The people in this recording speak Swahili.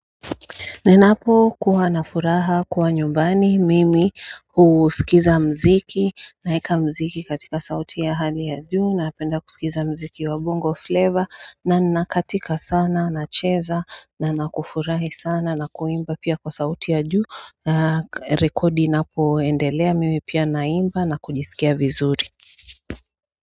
Ninapokuwa na furaha kuwa nyumbani mimi husikiza mziki naeka mziki katika sauti ya hali ya juu na napenda kusikiza mziki wa bongo flavor na nakatika sana nacheza na nakufurahi sana na kuimba pia kwa sauti ya juu Rekodi inapoendelea mimi pia naimba na kujisikia vizuri.